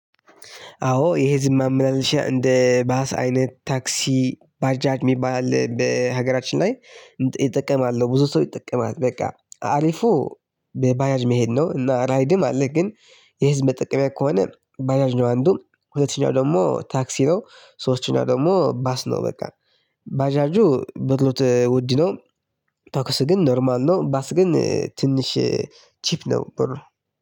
አዎ የህዝብ ማመላለሻ እንደ ባስ አይነት ታክሲ ባጃጅ የሚባል አለ በሀገራችን ላይ ይጠቀማል ብዙ ሰው ይጠቀማል በቃ አሪፉ በባጃጅ መሄድ ነው። እና ራይድም አለ ግን የህዝብ መጠቀሚያ ከሆነ በጃጅ ነው። አንዱ ሁለተኛው ደግሞ ታክሲ ነው ሶስተኛው ደግሞ ባስ ነው። በቃ ባጃጁ ብሩ ውድ ነው። ታኩስ ግን ኖርማል ነው። ባስ ግን ትንሽ ቺፕ ነው። ብር